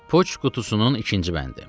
Poçt qutusunun ikinci bəndi.